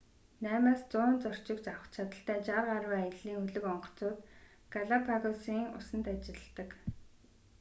8-100 зорчигч авах чадалтай 60 гаруй аяллын хөлөг онгоцууд галапагосын усанд ажилладаг